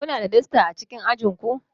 Kuna da dasta a cikin ajin ku